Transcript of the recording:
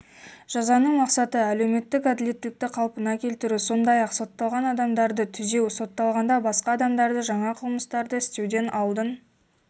жазаның мақсаты әлеуметтік әділеттілікті қалпына келтіру сондай-ақ сотталған адамдарды түзеу сотталғанда басқа адамдарды жаңа қылмыстарды істеуден алдын